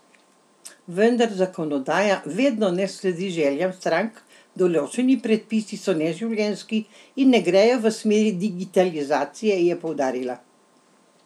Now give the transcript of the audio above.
Vendar zakonodaja vedno ne sledi željam strank: 'Določeni predpisi so neživljenjski in ne gredo v smeri digitalizacije,' je poudarila.